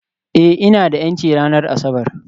Ee, ina da 'yanci ranar Asabar